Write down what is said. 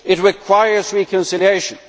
It requires reconciliation.